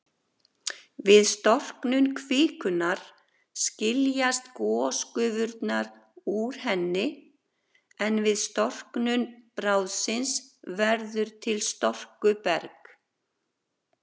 Við storknun kvikunnar skiljast gosgufurnar úr henni, en við storknun bráðsins verður til storkuberg.